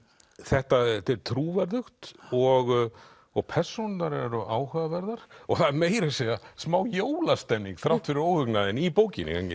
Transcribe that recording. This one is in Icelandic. þetta er trúverðugt og og persónurnar eru áhugaverðar og það er meira að segja smá jólastemning þrátt fyrir óhugnaðinn í bókinni